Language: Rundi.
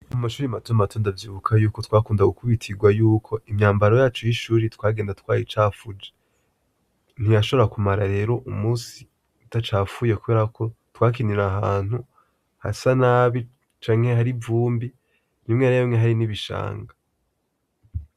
Mumashure matomato ndavyibuka yuko twakunda gukubitirwa yuko imyambaro yacu y'ishure twagenda twayicafuje ntiyashobora kumara rero umusi idacafuye kuberako twakinira ahantu hasa nabi canke har'ivumbi rimwe na rimwe hari n'ibishanga.